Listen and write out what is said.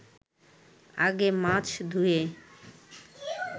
আগে মাছ ধুয়ে